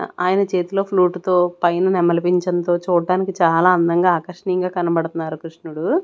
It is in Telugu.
ఆయన చేతిలో ఫ్లూటు తో పైన నెమలి పింఛం తో చూట్టానికి చాలా అందంగా ఆకర్షణీయంగా కనబడుతున్నారు క్రిష్ణుడు.